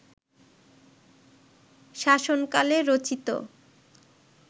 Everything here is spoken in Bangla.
শাসনকালে রচিত